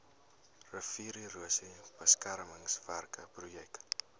riviererosie beskermingswerke projek